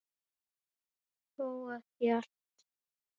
Þó ekki allt.